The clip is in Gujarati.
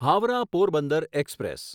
હાવરાહ પોરબંદર એક્સપ્રેસ